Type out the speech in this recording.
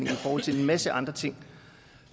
i forhold til en masse andre ting